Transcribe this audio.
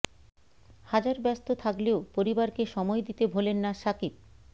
হাজার ব্যস্ত থাকলেও পরিবারকে সময় দিতে ভোলেন না সাকিব